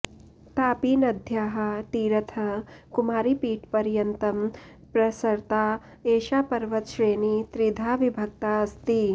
तापीनद्याः तीरतः कुमारीपीठपर्यन्तं पृसृता एषा पर्वतश्रेणी त्रिधा विभक्ता अस्ति